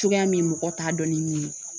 Cogoya min mɔgɔ t'a dɔn ni min ye